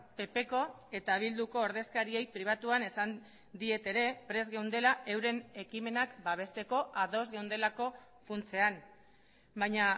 ppko eta bilduko ordezkariei pribatuan esan diet ere prest geundela euren ekimenak babesteko ados geundelako funtsean baina